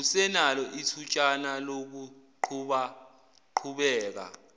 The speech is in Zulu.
usenalo ithutshana lokuqhubaqhubeka